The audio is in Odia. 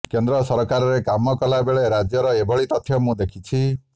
କେନ୍ଦ୍ର ସରକାରରେ କାମ କଲା ବେଳେ ରାଜ୍ୟର ଏଭଳି ତଥ୍ୟ ମୁଁ ଦେଖିଛି